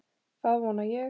Það vona ég